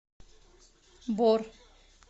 бор